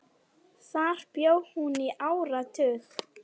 Þar bjó hún í áratug.